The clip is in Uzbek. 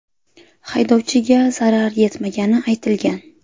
Haydovchiga zarar yetmagani aytilgan.